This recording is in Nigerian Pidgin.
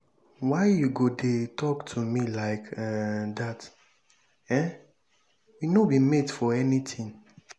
why you go dey talk to me like um dat? um we no be mate for anything.